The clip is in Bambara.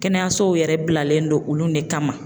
Kɛnɛyasow yɛrɛ bilalen don olu yɛrɛ de kama